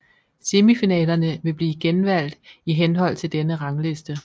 Semifinalerne vil blive genvalgt i henhold til denne rangliste